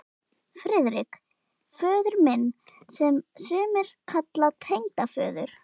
FRIÐRIK: Föður minn, sem sumir kalla tengdaföður